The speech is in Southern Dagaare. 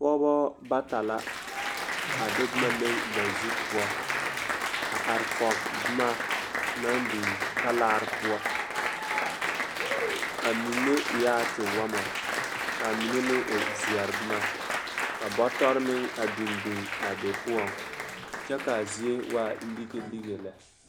Pɔɔbɔ bata la a de boma leŋ ba zu poɔ a arekɔɡe boma naŋ biŋ talaare poɔ a mine eɛ a tewɔmɔ ka a mine meŋ e zeɛri boma ka bɔtɔre meŋ biŋbiŋ a be poɔ kyɛ ka zie waa liɡeliɡe lɛ.